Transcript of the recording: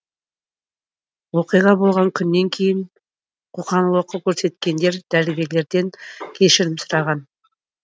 оқиға болған күннен кейін қоқан лоққы көрсеткендер дәрігерлерден кешірім сұраған